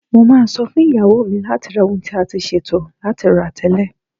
Mo máa sọ fún ìyàwó mi láti ra ohun tí a ti ṣètò láti rà tẹ́lẹ̀.